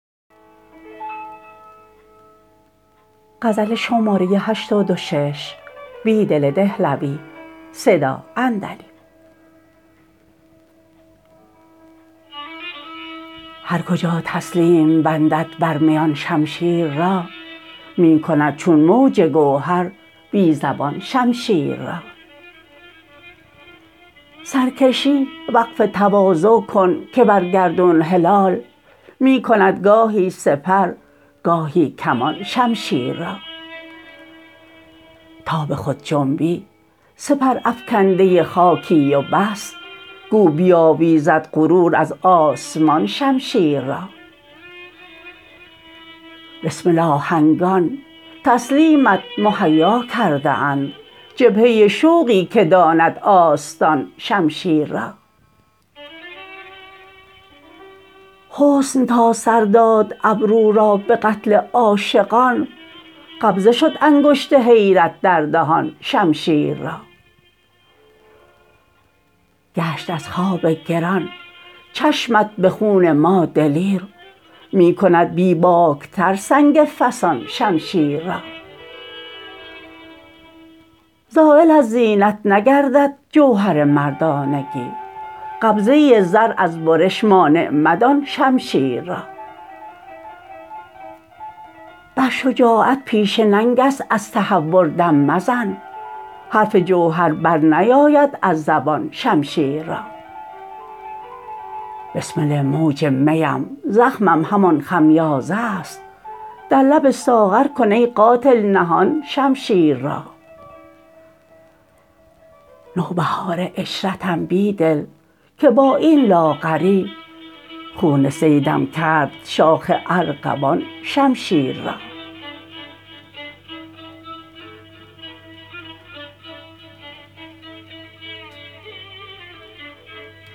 هرکجا تسلیم بندد بر میان شمشیر را می کندچون موج گوهر بی زبان شمشیر را سرکشی وقف تواضع کن که برگردون هلال می کندگاهی سپرگاهی کمان شمشیر را تا به خود جنبی سپر افکنده خاکی و بس گو بیاویزد غرور از آسمان شمشیر را بسمل آهنگان تسلیمت مهیا کرده اند جبهه شوقی که داند آستان شمشیر را حسن تا سر داد ابرو را به قتل عاشقان قبضه شدانگشت حیرت در دهان شمشیر را گشت از خواب گر ان چشمت به خون ما دلیر می کند بیباکتر سنگ فسان شمشیر را زایل از زینت نگردد جوهر مردانگی قبضه زر از برش مانع مدان شمشیر را بر شجاعت پیشه ننگ است از تهور دم مزن حرف جوهر برنیاید از زبان شمشیر را بسمل موج می ام زخمم همان خمیازه است در لب ساغرکن ای قاتل نهان شمشیر را نوبهار عشرتم بیدل که با این لاغری خون صیدم کرد شاخ ارغوان شمشیر را